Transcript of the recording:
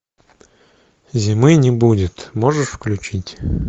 зимы не будет можешь включить